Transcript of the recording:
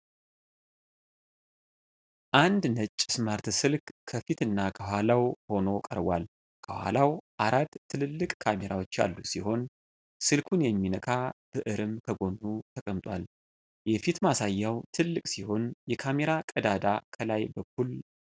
አንድ ነጭ ስማርት ስልክ ከፊትና ከኋላው ሆኖ ቀርቧል። ከኋላው አራት ትልልቅ ካሜራዎች ያሉት ሲሆን፣ ስልኩን የሚነካ ብዕርም ከጎኑ ተቀምጧል። የፊት ማሳያው ትልቅ ሲሆን፣ የካሜራ ቀዳዳ ከላይ በኩል አለው።